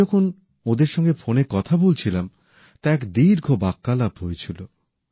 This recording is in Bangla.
আমি যখন ওঁদের সঙ্গে ফোনে কথা বলছিলাম তা এক দীর্ঘ বাক্যালাপ হয়েছিল